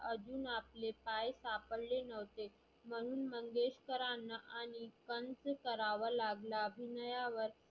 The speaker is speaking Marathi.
आजुन आपले पाय सापडले नव्हते. म्हणुन मंगेशकरांना आणि कंस करावा लागला. अभिनयावर